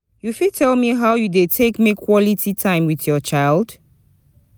you fit tell me how you dey take make quality time with your child?